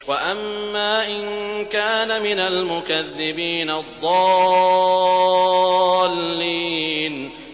وَأَمَّا إِن كَانَ مِنَ الْمُكَذِّبِينَ الضَّالِّينَ